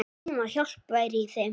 Mín hjálp væri í þeim.